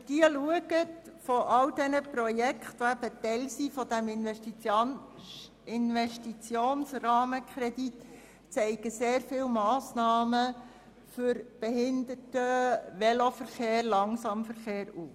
Die Liste all jener Projekte, die Teil des Investitionsrahmenkredits sind, zeigt sehr viele Massnahmen für Behinderten-, Velo- und Langsamverkehr auf.